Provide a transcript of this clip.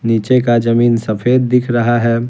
नीचे का जमीन सफेद दिख रहा है।